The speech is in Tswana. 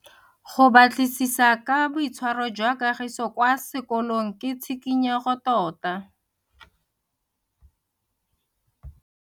Go batlisisa ka boitshwaro jwa Kagiso kwa sekolong ke tshikinyego tota.